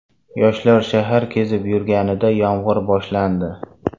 Yoshlar shahar kezib yurganida yomg‘ir boshlandi.